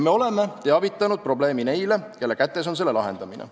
Me oleme teadvustanud probleemi neile, kelle kätes on selle lahendamine.